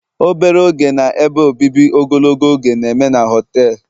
obere oge na ebe obibi ogologo oge na-eme na họtelu